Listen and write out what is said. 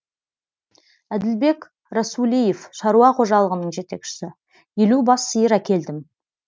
әділбек расулиев шаруа қожалығының жетекшісі елу бас сиыр әкелдім